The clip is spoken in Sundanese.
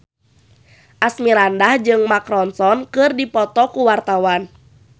Asmirandah jeung Mark Ronson keur dipoto ku wartawan